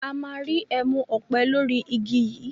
A má rí ẹmu òpè lórí igi yí.